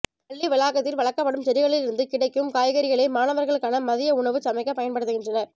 பள்ளி வளாகத்தில் வளர்க்கப்படும் செடிகளிலிருந்து கிடைக்கும் காய்கறிகளே மாணவர்களுக்கான மதிய உணவு சமைக்கப் பயன்படுத்துகின்றனர்